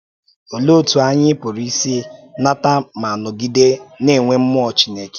Òlee otú anyị pụrụ isi nata ma nọgide na-enwe mmụọ Chineke?